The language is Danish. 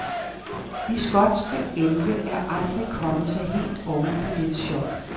De skotske elve er aldrig kommet sig helt oven på dette chok.